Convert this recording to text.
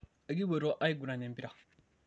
ekipuoito aiguran empira